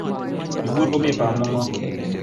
Ibur komie bamo'ngo